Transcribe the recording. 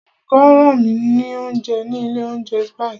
Olùkó rán mi ní oúnjẹ ní ilé oúnjẹ Spices.